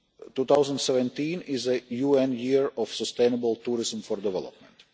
2017 is the UN Year of Sustainable Tourism for Development.